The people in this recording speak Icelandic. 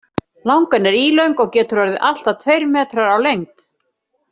Langan er ílöng og getur orðið allt að tveir metrar á lengd.